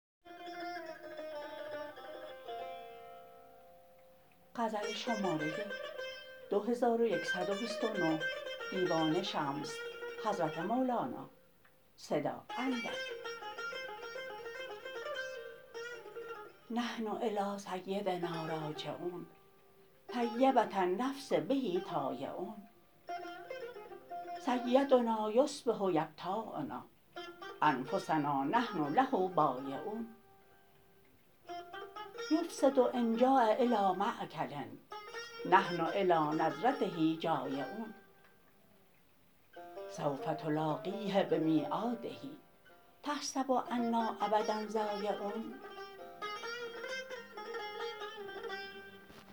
نحن إلیٰ سیدنا راجعون طیبة النفس به طایعون سیدنا یصبح یبتاعنا أنفسنا نحن له بایعون یفسد إن جاع إلیٰ مأکل نحن إلیٰ نظرته جایعون سوف تلاقیه بمیعاده تحسب أنا أبدا ضایعون